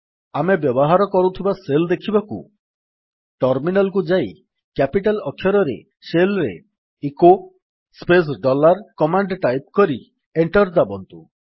ଆମେ ବ୍ୟବହାର କରୁଥିବା ଶେଲ୍ ଦେଖିବାକୁ ଟର୍ମିନାଲ୍ କୁ ଯାଇ କ୍ୟାପିଟାଲ୍ ଅକ୍ଷରରେ ଶେଲ୍ ରେ echo space dollar command type କରି ଏଣ୍ଟର୍ ଦାବନ୍ତୁ